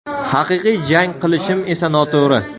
Haqiqiy jang qilishim esa noto‘g‘ri.